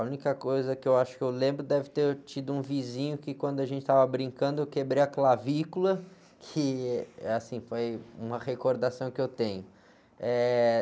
A única coisa que eu acho que eu lembro deve ter tido um vizinho que quando a gente estava brincando eu quebrei a clavícula, que, eh, assim, foi uma recordação que eu tenho.